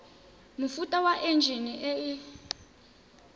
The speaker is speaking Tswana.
mofuta wa enjine e e